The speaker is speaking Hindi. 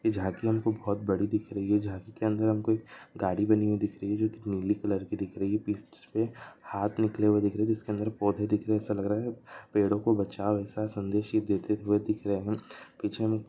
जाती हमको बहुत बड़ी दिक् रही हे जाती की हमको गाड़ी बी दिक् रही हे नीले कलर की दिक् रही हे हाथ निकले हेउ ये हे जिसके अंदर पौदे बी दिखा रक् हे पेड़ो को ऐसा सन्देश देती हे पीछे हम --